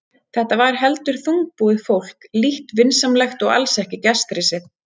Þetta var heldur þungbúið fólk, lítt vinsamlegt og alls ekki gestrisið.